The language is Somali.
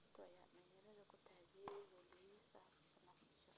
Ruto ayaa dhalinyaradu ku taageereen ololihiisa "Hustler Nation".